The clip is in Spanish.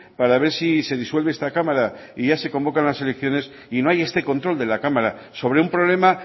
para ver si se disuelve esta cámara y ya se convocan las elecciones y no hay este control de la cámara sobre un problema